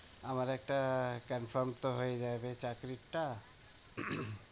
আমার একটা confirm তো হয়ে যাবে চাকরিটা?